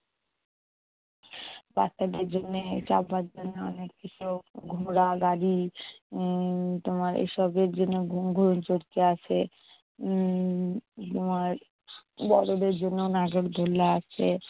বাচ্চাদের জন্য সবার জন্য অনেক কিছু ঘোড়া, গাড়ি উম তোমার এসবের জন্য গুন গুন চরকি আছে উম তোমার বড়দের জন্য নাগরদোলা আছে।